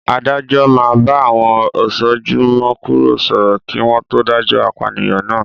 Adájọ́ máa bá àwọn "Osojúmi-kòró" sọ̀rọ̀ kí wọn to dájọ́ apànìyàn náà.